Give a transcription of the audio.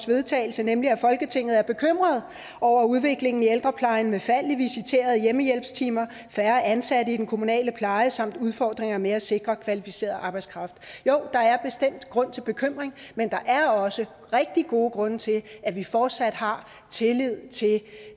vedtagelse nemlig folketinget er bekymret over udviklingen i ældreplejen med fald i visiterede hjemmehjælpstimer færre ansatte i den kommunale pleje samt udfordringer med at sikre kvalificeret arbejdskraft jo der er bestemt grund til bekymring men der er også rigtig gode grunde til at vi fortsat har tillid til